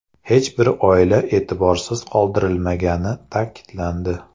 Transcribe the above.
Hech bir oila e’tiborsiz qoldirilmagani ta’kidlandi.